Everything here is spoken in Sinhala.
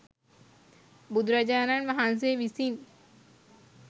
බුදුරජාණන් වහන්සේ විසින්